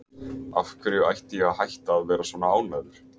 Af hverju ætti ég að hætta að vera ánægður?